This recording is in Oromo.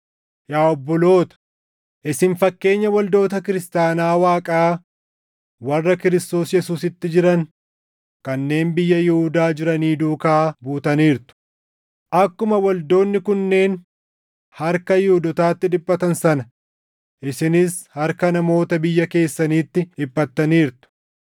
Yaa obboloota, isin fakkeenya waldoota kiristaanaa Waaqaa warra Kiristoos Yesuusitti jiran kanneen biyya Yihuudaa jiranii duukaa buutaniirtu; akkuma waldoonni kunneen harka Yihuudootaatti dhiphatan sana isinis harka namoota biyya keessaniitti dhiphattaniirtu;